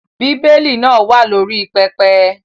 Bí Élì náà wà ní orí pẹpẹ.